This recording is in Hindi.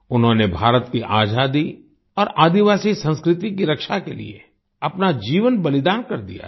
उन्होंने भारत की आजादी और आदिवासी संस्कृति की रक्षा के लिए अपना जीवन बलिदान कर दिया था